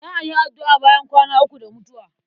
Za a yi addu'a bayan kwana uku da mutuwa.